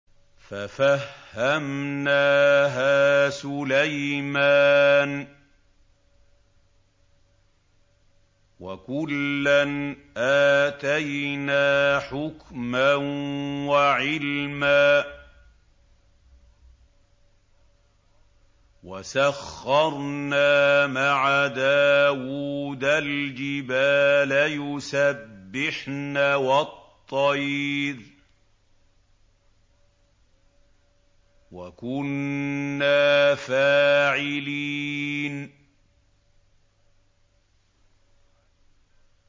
فَفَهَّمْنَاهَا سُلَيْمَانَ ۚ وَكُلًّا آتَيْنَا حُكْمًا وَعِلْمًا ۚ وَسَخَّرْنَا مَعَ دَاوُودَ الْجِبَالَ يُسَبِّحْنَ وَالطَّيْرَ ۚ وَكُنَّا فَاعِلِينَ